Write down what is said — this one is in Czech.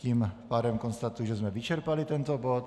Tím pádem konstatuji, že jsme vyčerpali tento bod.